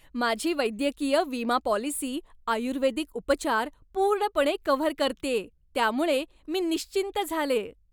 माझी वैद्यकीय विमा पॉलिसी आयुर्वेदिक उपचार पूर्णपणे कव्हर करतेय, त्यामुळं मी निश्चिंत झालेय!